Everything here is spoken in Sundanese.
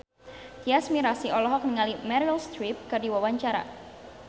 Tyas Mirasih olohok ningali Meryl Streep keur diwawancara